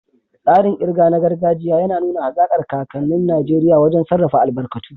Tsarin ƙirga na gargajiya ya nuna hazaƙar kakannin Najeriya wajen sarrafa albarkatun.